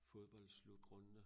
Fodbold slutrunde